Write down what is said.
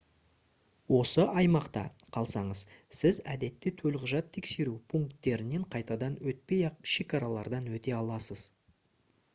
осы аймақта қалсаңыз сіз әдетте төлқұжат тексеру пункттерінен қайтадан өтпей-ақ шекаралардан өте аласыз